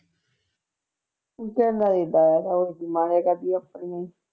ਦਾ ਆਇਆ ਥਾ